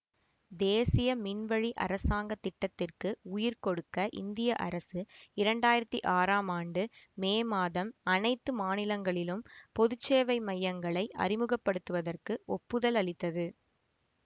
தேசிய மின்வழி அரசாங்க திட்டத்திற்கு உயிர் கொடுக்க இந்திய அரசு இரண்டாயிரத்தி ஆறாம் ஆண்டு மே மாதம் அனைத்து மாநிலங்களிலும் பொது சேவை மையங்களை அறிமுக படுத்துவதற்கு ஒப்புதல் அளித்தது